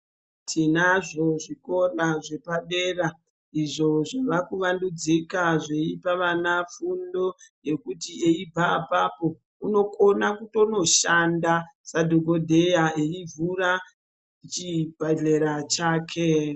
Tinazvo zvikora zvepadera izvo zvavakuvandudzika zveipa vana fundo. Yekuti eibva apapo unokona kutonoshanda sadhogodheya eivhura chibhedhlera chake.